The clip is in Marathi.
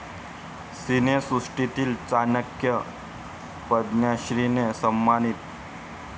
सिनेसृष्टीतील 'चाणक्य' 'पद्मश्री'ने सन्मानित!